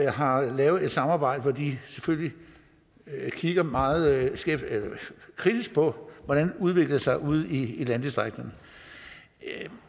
har lavet et samarbejde hvor de selvfølgelig kigger meget kritisk på hvordan det udvikler sig ude i landdistrikterne